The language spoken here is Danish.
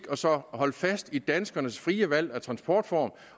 og så holde fast i danskernes frie valg af transportform